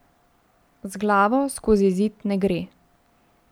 Z glavo skozi zid ne gre.